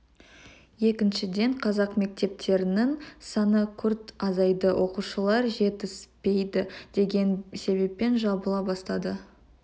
екіншіден қазақ мектептерінің саны күрт азайды оқушылар жетіспейді деген себеппен жабыла бастады